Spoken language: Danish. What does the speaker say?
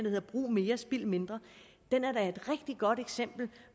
hedder brug mere spild mindre den er et rigtig godt eksempel